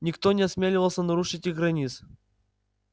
никто не осмеливался нарушить их границ